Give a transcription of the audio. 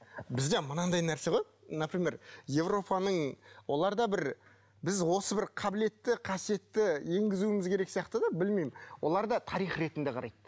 бізде мынандай нәрсе ғой например европаның оларда бір біз осы бір қабілетті қасиетті енгізуіміз керек сияқты да білмеймін оларда тарих ретінде қарайды